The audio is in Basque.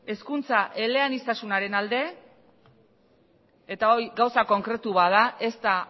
hezkuntza eleaniztasunaren alde eta hori gauza konkretu bat da ez da